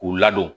K'u ladon